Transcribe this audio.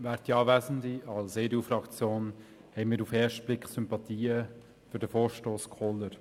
Wir haben auf den ersten Blick Sympathien für den Vorstoss Kohler.